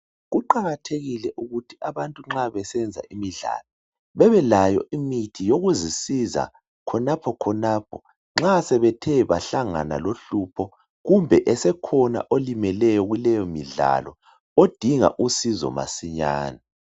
Kuqakathekile ukuthi abantu nxa besenza imidlalo bebelayo imithi yokuzisiza khonaphokhonapho nxa sebethe bahlangana lohlupho kumbe esekhona olimeleyo kuleyomidlalo odinga usizo masinyane.